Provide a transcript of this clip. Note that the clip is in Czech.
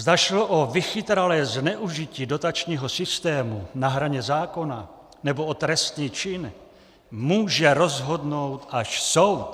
Zda šlo o vychytralé zneužití dotačního systému na hraně zákona, nebo o trestný čin, může rozhodnout až soud!